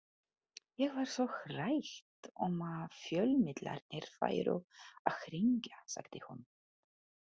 Ég var svo hrædd um að fjölmiðlarnir færu að hringja, sagði hún.